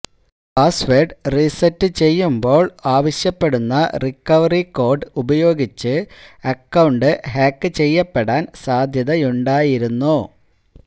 password reset ചെയ്യുമ്പോള് ആവശ്യപ്പെടുന്ന recovery code ഉപയോഗിച്ച് അക്കൌണ്ട് ഹാക്ക് ചെയ്യാപ്പെടാന് സാധ്യതയുണ്ടായിരുന്നു